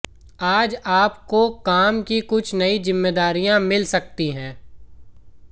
आज आपको काम की कुछ नयी जिम्मेदारियां मिल सकती हैं